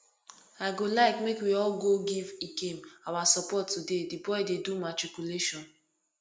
i go like make we all go give ikem our support today the boy dey do matriculation